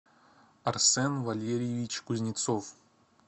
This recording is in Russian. арсен валерьевич кузнецов